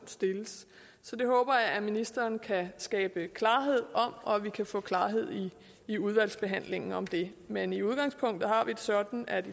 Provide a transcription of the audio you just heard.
stilles så det håber jeg at ministeren kan skabe klarhed om og at vi kan få klarhed i udvalgsbehandlingen om det men i udgangspunktet har vi det sådan at